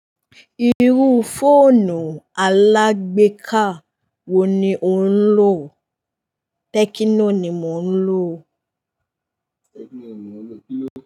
Irú fóònù alágbèéká wo ni ò ń lò? Tẹkino ni mo ń lò.